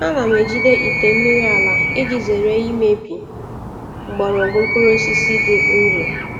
Ana m ejide ite mmiri ala iji zere imebi mgbọrọgwụ mkpụrụ osisi dị nro.